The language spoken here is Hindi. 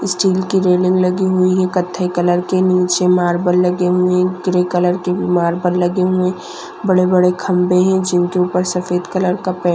स्टील की रेलिंग लगी हुई है कथेई कलर के नीचे मार्बल लगे हुए ग्रे कलर के भी मार्बल लगे हुए बड़े बड़े खंबे है जिनके ऊपर सफ़ेद कलर का पै --